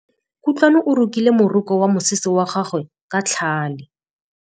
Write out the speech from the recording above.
Kutlwanô o rokile morokô wa mosese wa gagwe ka tlhale.